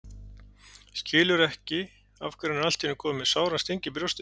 Skilur ekki af hverju hann er allt í einu kominn með sáran sting í brjóstið.